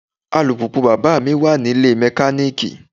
Alùpùpù bàbáà mi wà nílée mẹkaníìkì.